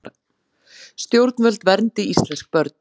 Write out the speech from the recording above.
Stjórnvöld verndi íslensk börn